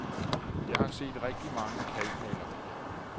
Jeg har set rigtig mange kalkmalerier.